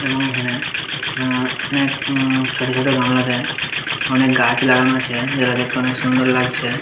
এবং এইখানে আ অনেক উম ছোট ছোট গামলাতে অনেক গাছ লাগানো আছে যেটা দেখতে অনেক সুন্দর লাগছে-এ।